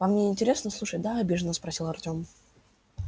вам не интересно слушать да обиженно спросил артём